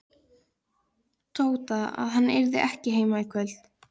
Tóta að hann yrði ekki heima í kvöld.